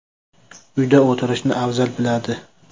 Uyda o‘tirishni afzal biladi.